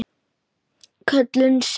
Köllun sinni?